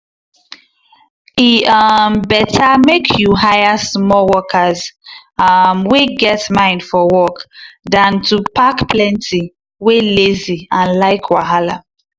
e um better make you hire small workers um wey get mind for work than to pack plenty wey lazy and like wahala.